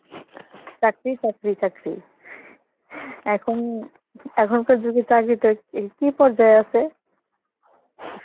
চাকরি চাকরি চাকরি, এখন~ এখনকার যুগের চাকরি টাকরি কি পর্যায় আসে?